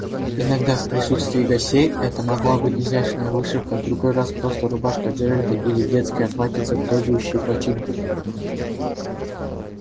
иногда в присутствии гостей это могла быть изящная вышивка в другой раз просто рубашка джералда или детское платьице требующее починки